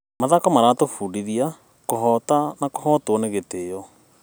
Mathako maratũbundithia kũhoota na kũhootwo nĩ gĩtĩo.